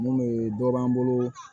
Mun be dɔ b'an bolo